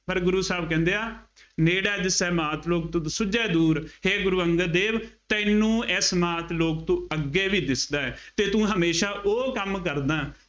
ਪਰ ਗੁਰੂ ਸਾਹਿਬ ਕਹਿੰਦੇ ਆ ਨੇੜੇ ਦਿਸੈ ਮਾਤ ਲੋਕ ਤੁਧ ਸੁੱਝੇ ਦੂਰ, ਹੈ ਗੁੂਰ ਅੰਗਦ ਦੇਵ ਤੈਨੂੰ ਇਸ ਮਾਤ ਲੋਕ ਤੋਂ ਅੱਗੇ ਵੀ ਦਿਸਦਾ ਹੈ ਅਤੇ ਤੂੰ ਹਮੇਸ਼ਾ ਉਹ ਕੰਮ ਕਰਦਾ